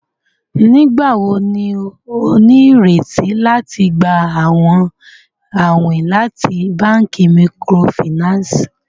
Nigbawo ni o nireti lati gba awọn awin lati banki microfinance?